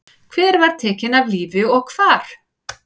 Hver var tekin af lífi og hvar?